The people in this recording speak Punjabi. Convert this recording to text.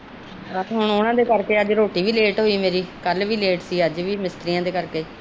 ਅੱਜ ਉਹਨਾਂ ਦੇ ਕਰਕੇ ਮੇਰੀ ਰੋਟੀ ਲੇਟ ਸੀ ਕਲ ਵੀ ਲੇਟ ਸੀ ਮਿਸਤੀਰੀਆਂ ਦੇ ਕਰਕੇ